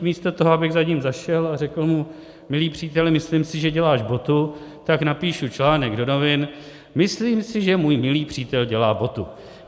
Místo toho abych za ním zašel a řekl mu "milý příteli, myslím si, že děláš botu", tak napíšu článek do novin - "myslím si, že můj milý přítel dělá botu".